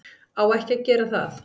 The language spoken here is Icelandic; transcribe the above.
Á ekki að gera það.